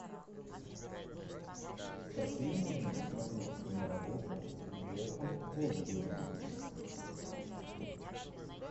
какие можно посмотреть киноработы с джеффом голдблюмом